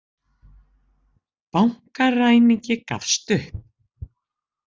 Bankaræningi gafst upp